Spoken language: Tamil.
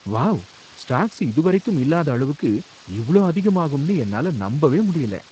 வாவ், ஸ்டாக்ஸ் இதுவரைக்கும் இல்லாத அளவுக்கு இவ்ளோ அதிகமாகும்னு என்னால நம்பவே முடியல!